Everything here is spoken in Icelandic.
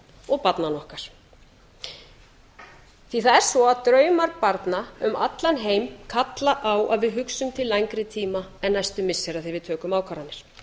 og barnanna okkar því það er svo að draumar barna um allan heim kalla á að við hugsum til lengri tíma en næstu missira þegar við tökum ákvarðanir